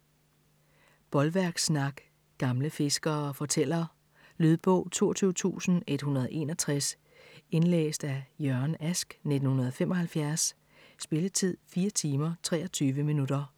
Bolværkssnak Gamle fiskere fortæller. Lydbog 22161 Indlæst af Jørgen Ask, 1975. Spilletid: 4 timer, 23 minutter.